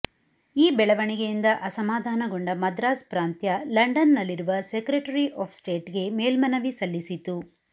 ಈ ಬೆಳವಣಿಗೆಯಿಂದ ಅಸಮಾಧಾನಗೊಂಡ ಮದ್ರಾಸ್ ಪ್ರಾಂತ್ಯ ಲಂಡನ್ನಲ್ಲಿರುವ ಸೆಕ್ರೆಟರಿ ಆಫ್ ಸ್ಟೇಟ್ಗೆ ಮೇಲ್ಮನವಿ ಸಲ್ಲಿಸಿತು